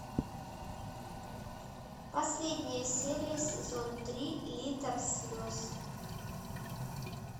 последняя серия сезон три литр слез